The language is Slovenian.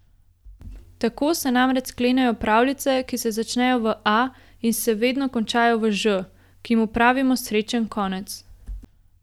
Tako se namreč sklenejo pravljice, ki se začnejo v A in se vedno končajo v Ž, ki mu pravimo srečen konec.